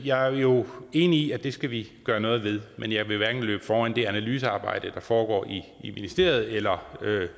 jeg er jo enig i at det skal vi gøre noget ved men jeg vil ikke løbe foran det analysearbejde der foregår i i ministeriet eller